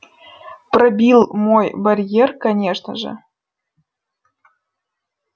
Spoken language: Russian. пробил мой барьер конечно же